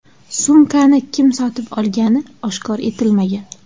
Sumkani kim sotib olgani oshkor etilmagan.